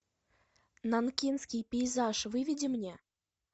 нанкинский пейзаж выведи мне